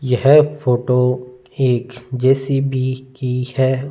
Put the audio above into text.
यह फोटो एक जे_सी_बी की है।